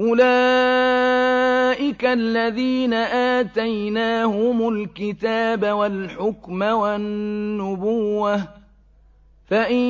أُولَٰئِكَ الَّذِينَ آتَيْنَاهُمُ الْكِتَابَ وَالْحُكْمَ وَالنُّبُوَّةَ ۚ فَإِن